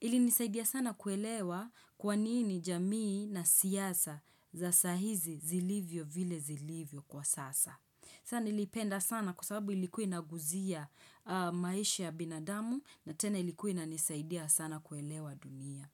Ilinisaidia sana kuelewa kwa nini jamii na siasa za saa hizi zilivyo vile zilivyo kwa sasa. Saa niliipenda sana kwa sababu ilikuwa inaguzia maisha ya binadamu na tena ilikuwa inanisaidia sana kuelewa dunia.